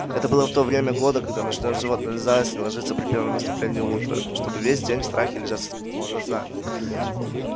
это было в то время года когда ночное животное заяц не ложится при первом наступлении утра чтобы весь день в страхе лежать с открытыми глазами